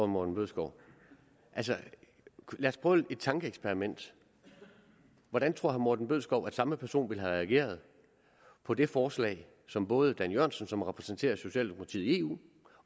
morten bødskov altså lad os prøve et tankeeksperiment hvordan tror herre morten bødskov at samme person ville have reageret på det forslag som både dan jørgensen som repræsenterer socialdemokrariet i eu